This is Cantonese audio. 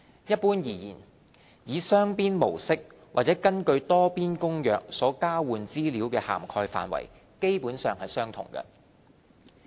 一般而言，以雙邊模式或是根據《多邊公約》所交換資料的涵蓋範圍基本上相同。